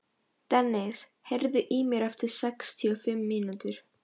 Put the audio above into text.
Dennis, heyrðu í mér eftir sextíu og fimm mínútur.